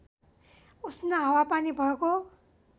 उष्ण हावापानी भएको